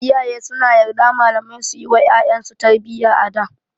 Iyaye suna yarda malamai suyi wa ƴaƴan su tarbiyya a da.